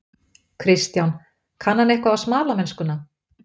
Kristján: Kann hann eitthvað á smalamennskuna?